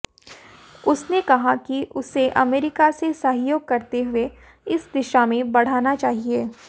उसने कहा कि उसे अमेरिका से सहयोग करते हुए इस दिशा में बढ़ाना चाहिए